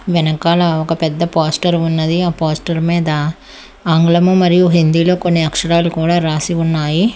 వెనకాల ఒక పెద్ద పోస్టర్ ఉన్నది ఆ పోస్టర్ మీద ఆంగ్లము మరియు హిందీలో కొన్ని అక్షరాలు కూడా రాసి ఉన్నాయి.